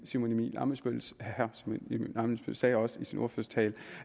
simon emil ammitzbøll sagde også i sin ordførertale